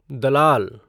दलाल